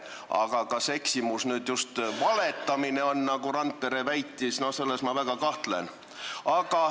Aga kas see eksimus just valetamine on, nagu Randpere väitis, selles ma väga kahtlen.